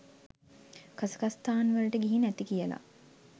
කසකස්ථාන් වලට ගිහින් ඇති කියලා.